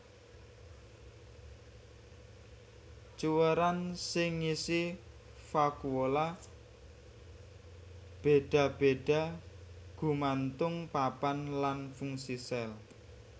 Cuwèran sing ngisi vakuola béda béda gumantung papan lan fungsi sel